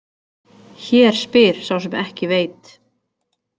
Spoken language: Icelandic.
Hér spyr sá sem ekki veit!